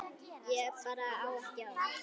Ég bara á ekki orð.